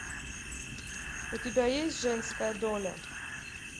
у тебя есть женская доля